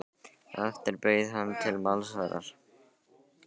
Á eftir bauð hann til málsverðar.